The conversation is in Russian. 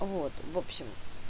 вот в общем